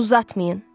Uzatmayın.